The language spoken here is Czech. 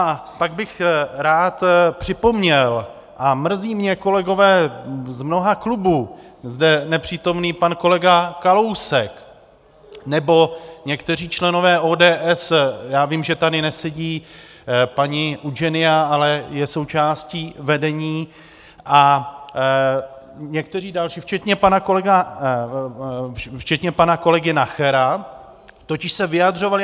A pak bych rád připomněl, a mrzí mě - kolegové z mnoha klubů, zde nepřítomný pan kolega Kalousek nebo někteří členové ODS, já vím, že tady nesedí paní Udženija, ale je součástí vedení, a někteří další včetně pana kolegy Nachera totiž se vyjadřovali.